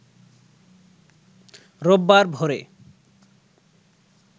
রোববার ভোরে